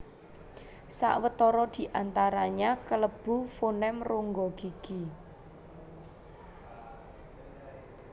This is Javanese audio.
Sawetara di antaranya kalebu fonem rongga gigi